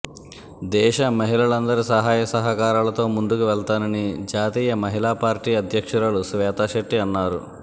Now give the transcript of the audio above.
దేశ మహిళలందరి సహాయ సహకారాలతో ముందుకువెళ్తామని జాతీయ మహిళా పార్టీ అధ్యక్షురాలు శ్వేతా శెట్టి అన్నారు